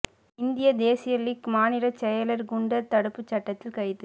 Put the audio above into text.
இந்திய தேசிய லீக் மாநிலச் செயலா் குண்டா் தடுப்புச் சட்டத்தில் கைது